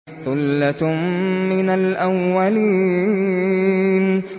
ثُلَّةٌ مِّنَ الْأَوَّلِينَ